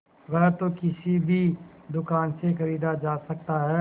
वह तो किसी भी दुकान से खरीदा जा सकता है